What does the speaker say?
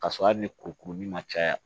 K'a sɔrɔ hali ni kuru kuruli ma caya